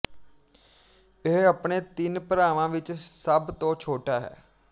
ਇਹ ਆਪਣੇ ਤਿੰਨ ਭਰਾਵਾਂ ਵਿੱਚ ਸਭ ਤੋਂ ਛੋਟਾ ਹੈ